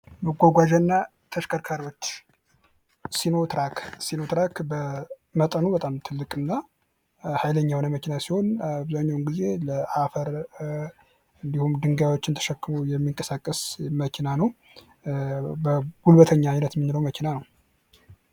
መጓጓዣና ተሽከርካሪዎች ሲኖትራክ፤ ሲኖትራክ በመጠኑ በጣም ትልቅ እና ሃይለኛ የሆነ መኪና ሲሆን አብዛኛውን ጊዜ ለአፈር እንዲሁም ድንጋይዎችን ተሸክመው የሚንቀሳቀስ መኪና ነው። ጉልበተኛ አይነት የምንለው መኪና ነው።